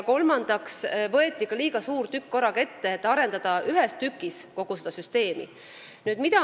Kolmandaks võeti korraga ette liiga suur tükk, taheti arendada kogu süsteemi koos.